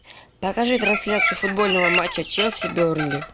покажи трансляцию футбольного матча челси бернли